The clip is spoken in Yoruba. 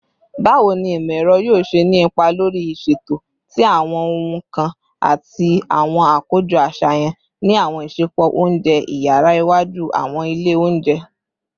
Bawo ni imọ-ẹrọ yoo ṣe ni ipa lori iṣeto ti awọn ohun kan ati awọn akojọ aṣayan ni awọn isẹpo ounjẹ iyara iwaju / awọn ile ounjẹ?